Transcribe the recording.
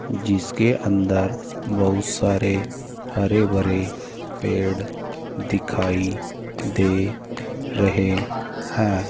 जिसके अंदर बहुत सारे हरे भरे पेड़ दिखाई दे रहे हैं।